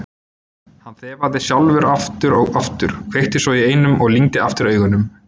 Hann þefaði sjálfur aftur og aftur, kveikti svo í einum og lygndi aftur augunum.